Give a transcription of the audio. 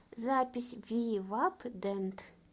запись вивап дент